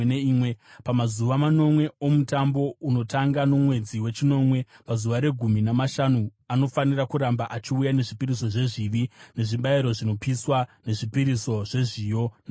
“ ‘Pamazuva manomwe oMutambo, unotanga nomwedzi wechinomwe pazuva regumi namashanu, anofanira kuramba achiuya nezvipiriso zvezvivi, nezvibayiro zvinopiswa, nezvipiriso zvezviyo namafuta.